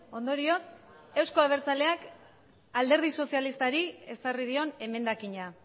ondorioz euzko abertzaleak alderdi sozialistari ezarri dion emendakina